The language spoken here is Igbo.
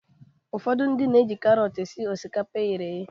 Ụfọdụ ndị na-eji karọt esi osikapa eghere eghe.